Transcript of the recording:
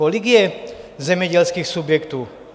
Kolik je zemědělských subjektů?